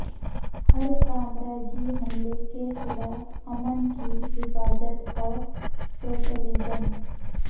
ہر سامراجی حملے کے خلاف امن کی حفاظت اور سوشلزم